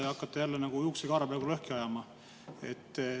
Te hakkate jälle juuksekarva lõhki ajama.